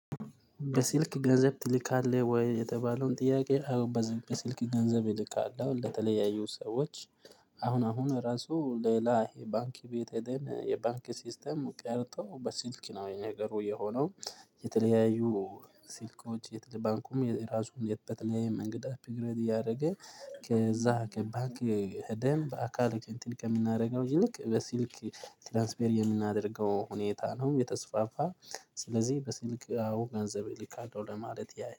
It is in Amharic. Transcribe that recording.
በስልክ ገንዘብ ትልካለህ ወይ? የተባለውን ጥያቄ አዎ በዚህ በስልክ ገንዘብ እልካለሁ ለተለያዩ ሰዎች። አሁን አሁን ራሱ ሌላ የባንክ ቤት ሄደን የባንክ ሲስተም ቀርቶ በስልክ ነው የ ነገሩ የሆነው። የተለያዩ ስልኮች ባንኩም የራሱን በተለያየ መንገድ አፕግሬድ እያደረገ ከዛ ከባክ ሄደን በአካል ከእንትን ከምናደርገው ይልቅ በስልክ ትራንስፈር የምናደርገው ሁኔታ ነው የተስፋፋ። ስለዚህ በስልክ አዎ ገንዘብ እልካለው ለማለት ያ